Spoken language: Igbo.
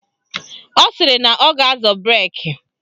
Ọ sịrị na ọ ga-azọ breki